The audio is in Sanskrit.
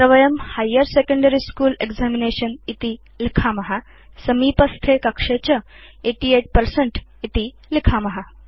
अत्र वयम् हाइर् सेकेण्डरी स्कूल एक्जामिनेशन् इति लिखाम समीपस्थे कक्षे च 88 पर्सेंट इति लिखाम